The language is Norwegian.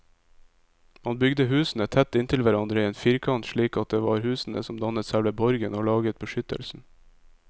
Man bygde husene tett inntil hverandre i en firkant, slik at det var husene som dannet selve borgen og laget beskyttelsen.